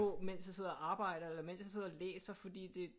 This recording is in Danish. Mens jeg sidder og arbejder eller mens jeg sidder og læser fordi det